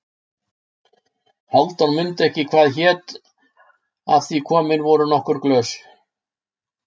Hálfdán mundi ekki hvað hét af því komin voru nokkur glös.